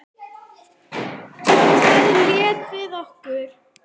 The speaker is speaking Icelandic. Þarna lékum við okkur.